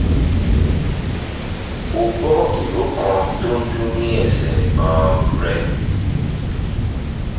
o gbọ́ ìró kan tó ń dún ní ẹsẹ̀ um rẹ